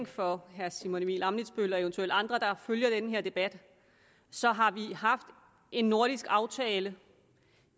for herre simon emil ammitzbøll og eventuelle andre der følger den her debat så har vi haft en nordisk aftale